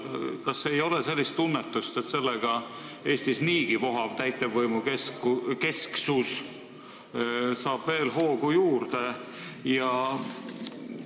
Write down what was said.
Kas ei ole sellist tunnetust, et Eestis niigi vohav täitevvõimukesksus saab sellega veel hoogu juurde?